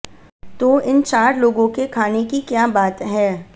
तो इन चार लोगों के खाने की क्या बात है